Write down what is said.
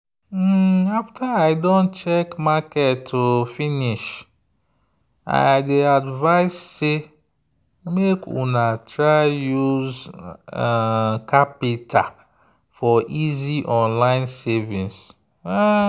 after i don check market finish i dey advise sey make una try use qapital for easy online savings.